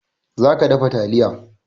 Za ka dafa taliya!